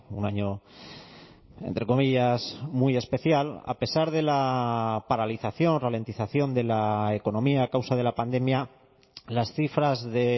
un año entre comillas muy especial a pesar de la paralización ralentización de la economía a causa de la pandemia las cifras de